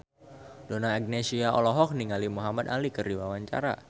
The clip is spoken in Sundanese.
Donna Agnesia olohok ningali Muhamad Ali keur diwawancara